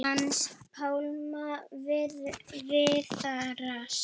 Hans Pálma Viðars.